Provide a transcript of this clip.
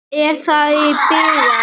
Er það í bígerð?